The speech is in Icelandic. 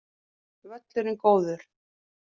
Völlurinn góður